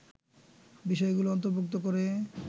বিষয়গুলো অন্তর্ভুক্ত করে